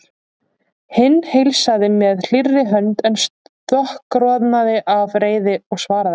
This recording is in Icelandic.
Hinn heilsaði með hlýrri hönd en stokkroðnaði af reiði og svaraði ekki.